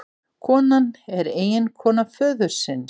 Konan er eiginkona föðursins